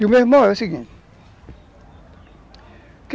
Meu irmão é o seguinte.